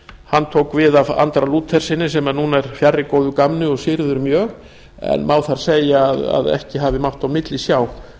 hann tók við af andra lútherssyni sem nú er fjarri góðu gamni og syrgður mjög en má segja að ekki hafi mátt á milli sjá